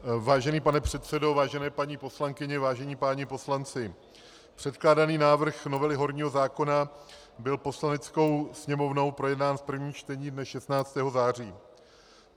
Vážený pane předsedo, vážené paní poslankyně, vážení páni poslanci, předkládaný návrh novely horního zákona byl Poslaneckou sněmovnou projednán v prvním čtení dne 16. září.